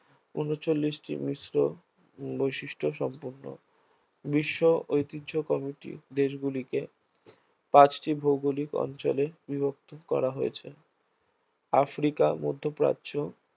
ঊনচল্লিশটি মিশ্র বৈশিষ্ট সম্পন্ন বিশ্ব ঐতিহ্য কমিটি দেশগুলিকে পাঁচটি ভৌগোলিক অঞ্চলে বিভক্ত করা হয়েছে আফ্রিকা, মধ্যপ্রাচ্য